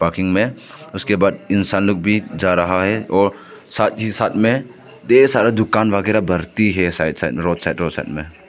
मे उसके बाद इंसान लोग भी जा रहा है और साथ ही साथ में ढेर सारा दुकान वगैरा बढ़ती है side side road side road side में।